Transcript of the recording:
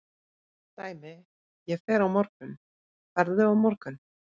Dæmi: ég fer á morgun, ferðu á morgun?